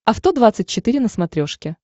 авто двадцать четыре на смотрешке